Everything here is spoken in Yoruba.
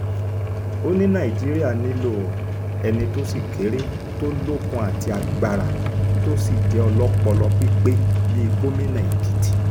ó ní nàìjíríà nílò ẹni tó sì kéré tó lókun àti agbára tó sì jẹ́ ọlọ́pọlọ pípé bíi gómìnà èkìtì